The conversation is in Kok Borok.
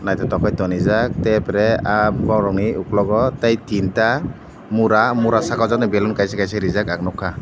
juta bai ton reejak arpore ahh borok ni ukulogo tai tinta mura mura saka o jone kais kaisa reejak ang nugkha.